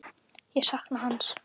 Ég sakna hans.